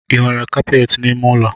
I nwere kapeti n’ime ụlọ?